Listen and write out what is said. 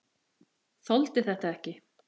Þoldi þetta ekki!